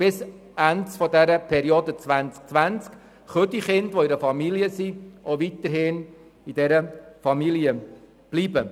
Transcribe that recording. Bis Ende der Periode 2020 können die Kinder, die in einer bestimmten Familie platziert sind, auch weiterhin in dieser bleiben.